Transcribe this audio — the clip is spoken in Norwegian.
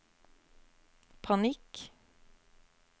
panikk